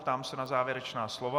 Ptám se na závěrečná slova.